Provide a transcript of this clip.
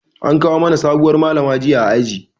An kawo mana sabuwar Malama jiya a aji.